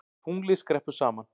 Tunglið skreppur saman